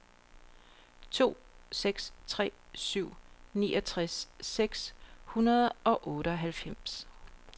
to seks tre syv niogtres seks hundrede og otteoghalvfems